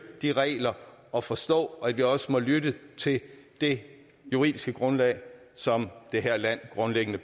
de regler og forstå at vi også må lytte til det juridiske grundlag som det her land